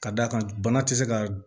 Ka d'a kan bana ti se ka